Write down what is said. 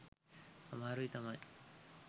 අමාරුයි තමයි.